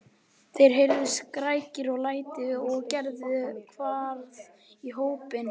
Það heyrðust skrækir og læti og Gerður hvarf í hópinn.